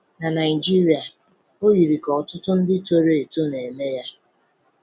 Na Naịjirịa, um o yiri ka ọtụtụ ndị toro eto na-eme ya. um